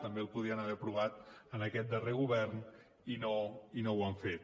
també el podien haver aprovat en aquest darrer govern i no ho han fet